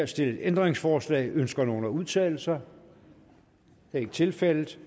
stillet ændringsforslag ønsker nogen at udtale sig det er ikke tilfældet